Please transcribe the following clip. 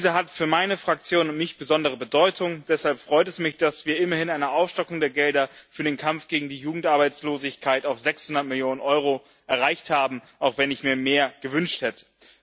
Diese hat für meine Fraktion und mich besondere Bedeutung. Deshalb freut es mich, dass wir immerhin eine Aufstockung der Gelder für den Kampf gegen die Jugendarbeitslosigkeit auf 600 Mio. EUR erreicht haben, auch wenn ich mir mehr gewünscht hätte.